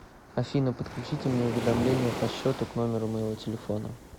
афина подключите мне уведомления по счету к номеру моего телефона